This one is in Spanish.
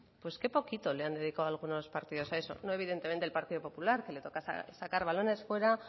pues qué poquito le han dedicado algunos partidos a eso no evidentemente el partido popular que le toca sacar balones fuera